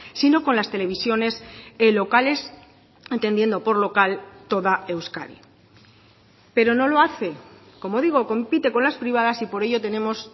sino con las televisiones locales entendiendo por local toda euskadi pero no lo hace como digo compite con las privadas y por ello tenemos